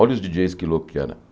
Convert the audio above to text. Olha os Di dJeis que louco que era.